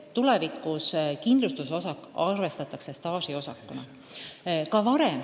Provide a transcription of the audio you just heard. Tulevikus kindlustusosak arvestatakse staažiosakuna.